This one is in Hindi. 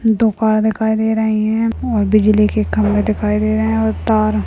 दुकान दिखाई दे रही है और बीजली के खंबे दिखाई दे रहे हैं और तार--